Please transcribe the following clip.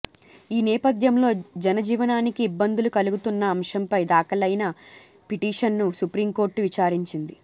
ఈ నేపథ్యంలో జనజీవనానికి ఇబ్బందులు కలుగుతున్న అంశంపై దాఖలైన పిటిషన్ను సుప్రీంకోర్టు విచారించింది